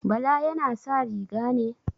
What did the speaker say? Bala yana sa riga ne?